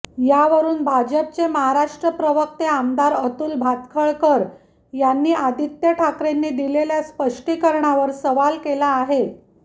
यावरून भाजपचे महाराष्ट्र प्रवक्ते आमदार अतुल भातखळकर यांनी आदित्य ठाकरेंनी दिलेल्या स्पष्टीकरणावर सवाल केला आहे